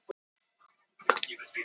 Hann horfði spyrjandi á hana.